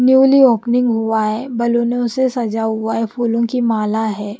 Newly opening हुआ है बलूनों से सजा हुआ है फूलों की माला है।